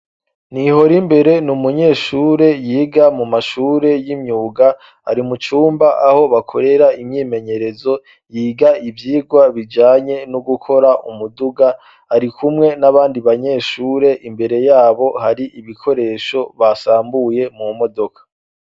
Nihorimbere ni umunyeshure yiga mu mashure y'imyuga. Ari mucumba aho bakorera imyimenyerezo. Yiga ivyigwa bijanye no gukora umuduga, ari kumwe n'abandi banyeshure. Imbere y'abo har'ibikoresho basambuye mu modoka.